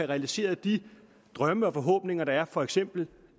realiseret de drømme og forhåbninger der er for eksempel